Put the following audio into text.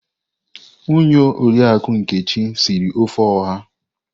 Ụnyaahụ Oriakụ Nkechi siri ofe Oha.